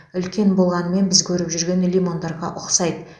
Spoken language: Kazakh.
үлкен болғанымен біз көріп жүрген лимондарға ұқсайды